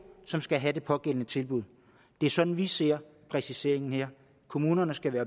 som skal have det pågældende tilbud det er sådan vi ser præciseringen her kommunerne skal være